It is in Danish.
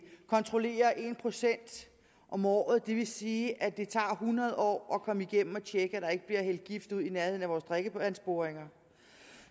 kontrollere en procent om året det vil sige at det tager hundrede år at komme igennem at tjekke at der ikke bliver hældt gift ud i nærheden af vores drikkevandsboringer